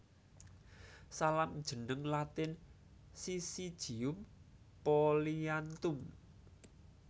Salam jeneng Latin Syzygium polyanthum